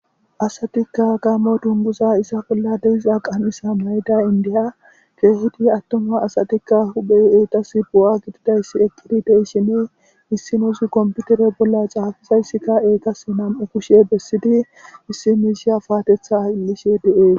asatikka gaamo dunguza isa bolla deiza qaanisa mayda indiya keehidi attuma asatikka huphey eetas bo7a gididayssi eqqidi deishini issinuzu komputere bolla caafizayssikka eetas nam7u kushe bessidi issi miisiya paatetha illishe de7ee